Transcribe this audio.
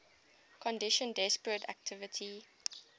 conditions depressed activity